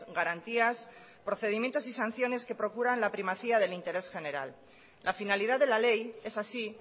garantías procedimientos y sanciones que procuran la primacía del interés general la finalidad de la ley esa sí